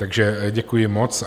Takže děkuji moc.